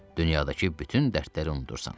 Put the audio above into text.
Dünyadakı bütün dərdləri unudursan.